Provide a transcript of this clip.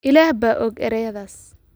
Ilaah baa og erayadaas